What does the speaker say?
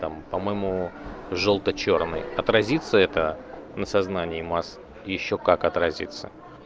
там по-моему жёлто-чёрный отразится это на сознание масс ещё как отразится